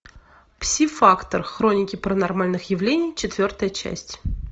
пси фактор хроники паранормальных явлений четвертая часть